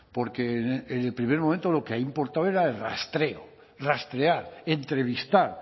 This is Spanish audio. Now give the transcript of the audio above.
porque en el primer momento lo que ahí importaba era el rastreo rastrear entrevistar